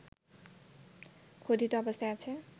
খোদিত অবস্থায় আছে